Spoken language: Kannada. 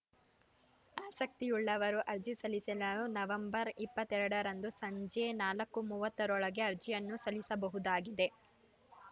ಆಸಕ್ತಿಯುಳ್ಳವರು ಅರ್ಜಿ ಸಲ್ಲಿಸಲು ನವೆಂಬರ್ ಇಪ್ಪತ್ತ್ ಎರಡ ರಂದು ಸಂಜೆ ನಾಲ್ಕು ಮೂವತ್ತ ರೊಳಗೆ ಅರ್ಜಿಯನ್ನು ಸಲ್ಲಿಸಬಹುದಾಗಿದೆ